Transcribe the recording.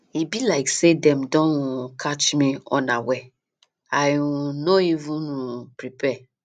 e be like say dem don um catch me unaware i um no even um prepare